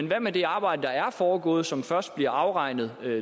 hvad med det arbejde der er foregået og som først bliver afregnet